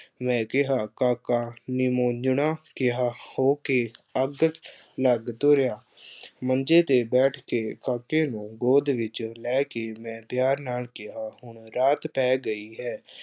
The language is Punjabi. ਮੈਂ ਕਿਹਾ ਕਾਕਾ ਨਿਮੋਜ਼ੰਣਾ ਜਿਹਾ ਹੋ ਕੇ ਅੱਗ ਲੱਗ ਤੁਰਿਆ, ਮੰਜ਼ੇ ਤੇ ਬੈਠ ਕੇ ਕਾਕੇ ਨੂੰ ਗੋਦ ਵਿੱਚ ਲੈ ਕੇ ਮੈਂ ਪਿਆਰ ਨਾਲ ਕਿਹਾ, ਹੁਣ ਰਾਤ ਪੈ ਗਈ ਹੈ।